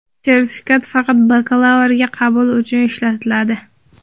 Sertifikat faqat bakalavrga qabul uchun ishlatiladi.